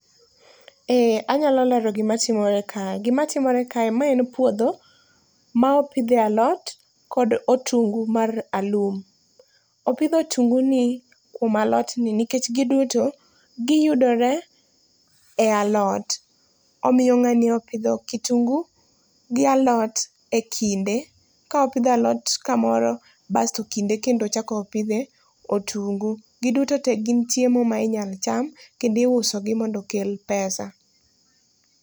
Ee anyalo lero gima timore ka. Gima timore ka, ma en puodho ma opidhie alot kod otungu mar alum. Opidh otunguni kuom alot ni nikech giduto giyudore e alot. Omiyo ng'ani opidho kitungu gi alot e kinde, kopidho alot kamoro bas to kinde kendo ochako opidhe otungu. Giduto te gin chiemo ma inyalo cham kendo iusogi mondo okel pesa.